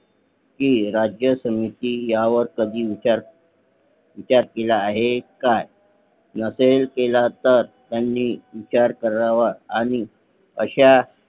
कि राज्य समिती ह्या वर कधी विचार केला आहे का नसेल केला तर त्यांनी विचार करावा आणि अशा